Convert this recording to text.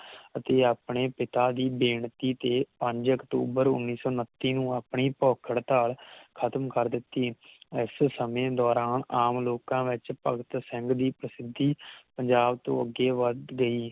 ਅਤੇ ਆਪਣੇ ਪਿਤਾ ਦੇ ਬੇਨਤੀ ਤੇ ਪੰਜ ਅਕਤੂਬਰ ਉਨ੍ਹੀ ਸੌ ਉੱਨਤੀ ਨੂੰ ਆਪਣੀ ਭੁੱਖ ਹੜਤਾਲ ਖ਼ਤਮ ਕਰ ਦਿਤੀ ਇਸ ਸਮੇਂ ਦੋਰਾਨ ਆਮ ਲੋਕਾਂ ਵਿਚ ਭਗਤ ਸਿੰਘ ਦੀ ਪ੍ਰਸਿੱਧੀ ਪੰਜਾਬ ਤੋਂ ਅਗੇ ਵੱਧ ਗਈ